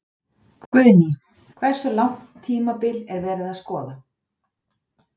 Guðný: Hversu langt tímabil er verið að skoða?